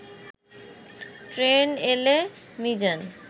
train এলে মিজান